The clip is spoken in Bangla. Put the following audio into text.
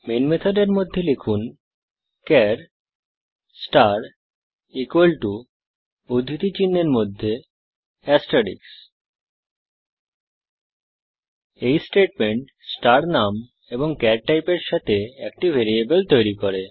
মেন মেথডের মধ্যে লিখুন চার স্টার উদ্ধৃতি চিনহের মধ্যে এসারটেইক্স এই স্টেটমেন্ট স্টার নাম এবং চার টাইপের সাথে একটি ভ্যারিয়েবল তৈরী করে